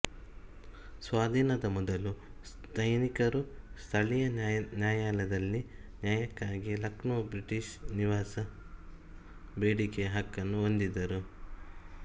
ಸ್ವಾಧೀನದ ಮೊದಲು ಸೈನಿಕರು ಸ್ಥಳೀಯ ನ್ಯಾಯಾಲಯದಲ್ಲಿ ನ್ಯಾಯಕ್ಕಾಗಿ ಲಕ್ನೋ ಬ್ರಿಟಿಷ್ ನಿವಾಸ ಬೇಡಿಕೆಯ ಹಕ್ಕನ್ನು ಹೊಂದಿದ್ದರು